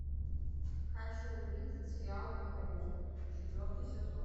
хочу увидеть сериал роузвуд четвертый сезон